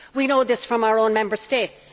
We know this from our own Member States.